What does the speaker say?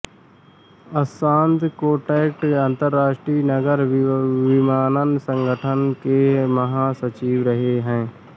Assad Kotaite अन्तर्राष्ट्रीय नागर विमानन संगठन के महासचिव रहे हैं